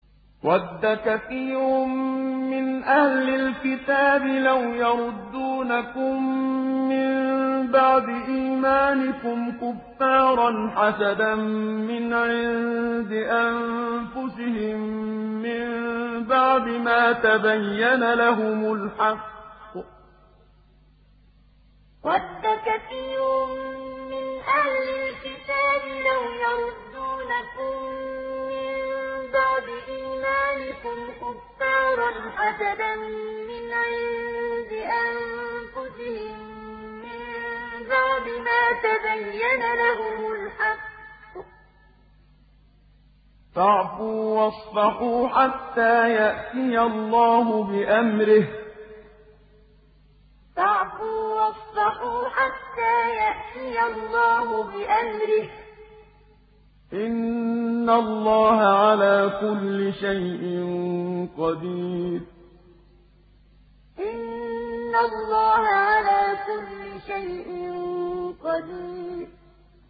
وَدَّ كَثِيرٌ مِّنْ أَهْلِ الْكِتَابِ لَوْ يَرُدُّونَكُم مِّن بَعْدِ إِيمَانِكُمْ كُفَّارًا حَسَدًا مِّنْ عِندِ أَنفُسِهِم مِّن بَعْدِ مَا تَبَيَّنَ لَهُمُ الْحَقُّ ۖ فَاعْفُوا وَاصْفَحُوا حَتَّىٰ يَأْتِيَ اللَّهُ بِأَمْرِهِ ۗ إِنَّ اللَّهَ عَلَىٰ كُلِّ شَيْءٍ قَدِيرٌ وَدَّ كَثِيرٌ مِّنْ أَهْلِ الْكِتَابِ لَوْ يَرُدُّونَكُم مِّن بَعْدِ إِيمَانِكُمْ كُفَّارًا حَسَدًا مِّنْ عِندِ أَنفُسِهِم مِّن بَعْدِ مَا تَبَيَّنَ لَهُمُ الْحَقُّ ۖ فَاعْفُوا وَاصْفَحُوا حَتَّىٰ يَأْتِيَ اللَّهُ بِأَمْرِهِ ۗ إِنَّ اللَّهَ عَلَىٰ كُلِّ شَيْءٍ قَدِيرٌ